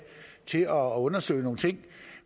til at undersøge nogle ting